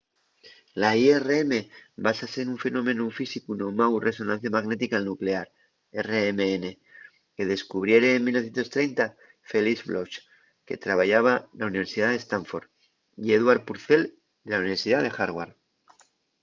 la irm básase nun fenómenu físicu nomáu resonancia magnética nuclear rmn que descubriere en 1930 felix bloch que trabayaba na universidá de stanford y edward purcell de la universidá de harvard